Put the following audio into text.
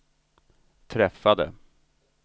träffade